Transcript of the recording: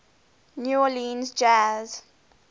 new orleans jazz